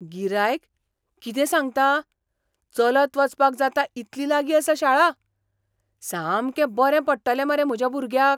गिरायक, कितें सांगता? चलत वचपाक जाता इतली लागीं आसा शाळा? सामकें बरें पडटलें मरे म्हज्या भुरग्याक.